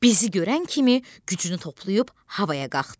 Bizi görən kimi gücünü toplayıb havaya qalxdı.